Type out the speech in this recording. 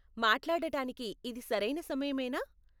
మాట్లాడటానికి ఇది సరైన సమయమేనా?